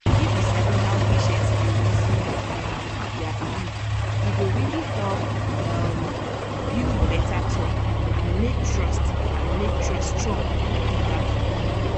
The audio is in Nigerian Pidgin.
if you sabi how patient dey reason um their belief e go really help um build better talk and make trust and make trust strong gidigba.